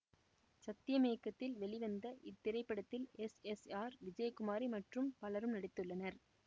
சத்யம் இயக்கத்தில் வெளிவந்த இத்திரைப்படத்தில் எஸ் எஸ் ஆர் விஜயகுமாரி மற்றும் பலரும் நடித்துள்ளனர்